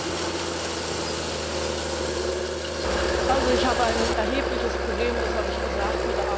Ich habe ein erhebliches Problem das habe ich gesagt mit der Art und Weise, wie wir hier mit der Souveränität von Staaten umgehen.